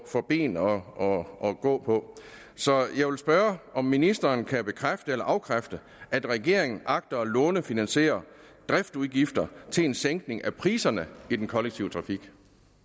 få ben at gå på så jeg vil spørge om ministeren kan bekræfte eller afkræfte at regeringen agter at lånefinansiere driftsudgifter til en sænkning af priserne i den kollektive trafik